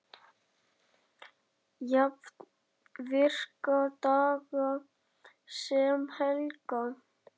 Jafnt virka daga sem helga.